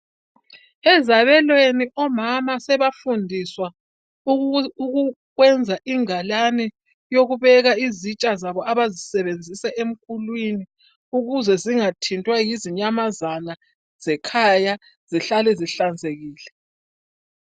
Ezabelweni omama sebafundiswa ukwenza ingalane yokubeka izitsha zabo abazisebenzisa emkulwini ukuze zingathintwa zinyamazana zekhaya ukuze zihlale zihlanzekile.